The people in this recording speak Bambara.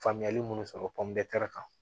Faamuyali minnu sɔrɔ kan